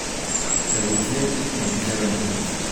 Tebutyet nekitebenke